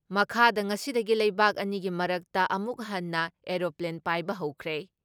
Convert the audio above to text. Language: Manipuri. ꯃꯈꯥꯗ ꯉꯁꯤꯗꯒꯤ ꯂꯩꯕꯥꯛ ꯑꯅꯤꯒꯤ ꯃꯔꯛꯇ ꯑꯃꯨꯛ ꯍꯟꯅ ꯑꯦꯔꯣꯄ꯭ꯂꯦꯟ ꯄꯥꯏꯕ ꯍꯧꯈ꯭ꯔꯦ ꯫